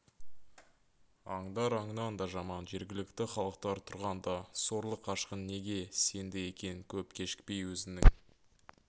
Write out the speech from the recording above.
аңдар аңнан да жаман жергілікті халықтар тұрғанда сорлы қашқын неге сенді екен көп кешікпей өзінің